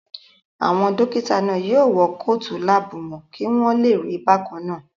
Àwọn dókítà náà yóò wọ kóòtù láàbù wọn kí wọ́n lè rí bákannáà